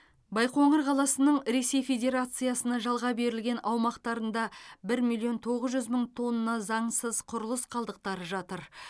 байқоңыр қаласының ресей федерациясына жалға берілген аумақтарында бір миллион тоғыз жүз мың тонна заңсыз құрылыс қалдықтары жатыр